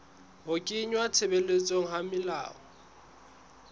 ho kenngwa tshebetsong ha melao